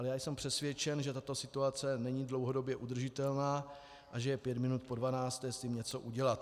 Ale já jsem přesvědčen, že tato situace není dlouhodobě udržitelná a že je pět minut po dvanácté s tím něco udělat.